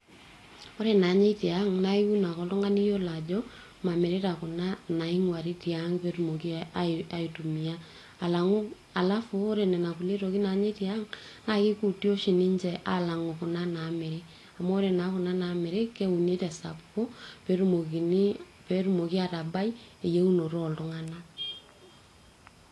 ore naanyai tiang naa iun ake oltung'ani iyiolo ajo mamirita kuna inaing'uari tiang petumoki aitumia alang'u, alafu orenana kulie tokitiin nanyae tiang naa kikuti oshi ninche alang'u kuna naamiri amu ore naa kuna namiri keuni tesapuko petumokini, petumoki atabai eyieunopto oltung'anak.